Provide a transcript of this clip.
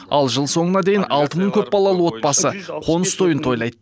ал жыл соңына дейін алты мың көпбалалы отбасы қоныс тойын тойлайды